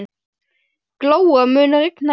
Glóa, mun rigna í dag?